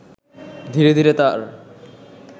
ধীরে ধীরে তার